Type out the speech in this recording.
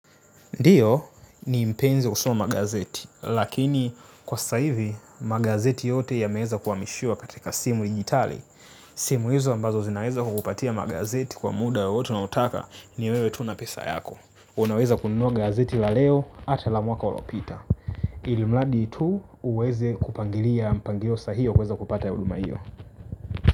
Ndiyo ni mpenzi husoma gazeti, lakini kwa sasa hivi magazeti yote yameweza kuhamishua katika simu digitali. Simu hizo ambazo zinaweza kukupatia magazeti kwa muda wowote unaotaka ni wewe tuna pesa yako. Unaweza kununua magazeti la leo ata la mwaka uliopita. Ili mradi tu uweze kupangilia mpangilio sahihi wa kuweza kupata ya huduma hiyo.